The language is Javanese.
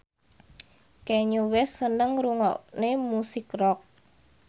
Kanye West seneng ngrungokne musik rock